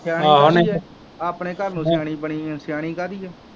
ਸਿਆਣੀ ਬਣਦੀ ਇਹ ਆਪਣੇ ਘਰ ਨੂੰ ਸਿਆਣੀ ਬਣੀ ਆ ਸਿਆਣੀ ਕਾਹਦੀ ਇਹ